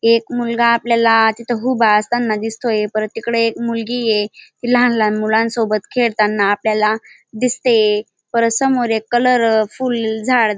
एक मुलगा आपल्याला तिथ उभा असताना दिसतोय परत तिकड एक मुलगी ये ती लहान लहान सोबत खेळताना आपल्याला दिसतेये परत समोर एक कलरफूल झाड --